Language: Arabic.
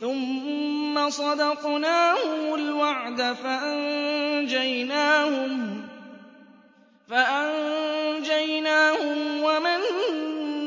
ثُمَّ صَدَقْنَاهُمُ الْوَعْدَ فَأَنجَيْنَاهُمْ وَمَن